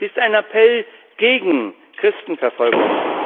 Sie ist ein Appell gegen Christenverfolgung.